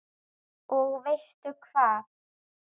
Og veistu hvað?